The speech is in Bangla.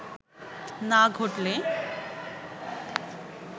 না ঘটলে